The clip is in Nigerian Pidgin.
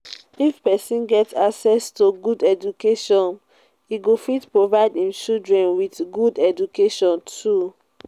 if persin get access to good education im go fit provide im children with good education too